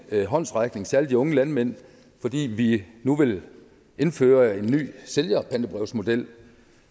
håndsrækning særlig de unge landmænd fordi vi nu vil indføre en ny sælgerpantebrevsmodel